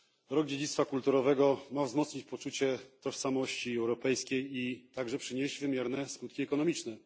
Rok dziedzictwa kulturowego ma wzmocnić poczucie tożsamości europejskiej i także przynieść wymierne skutki ekonomiczne.